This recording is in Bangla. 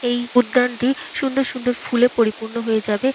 এই উদ্যানটি সুন্দর সুন্দর ফুলে পরিপূর্ণ হয়ে যাবে।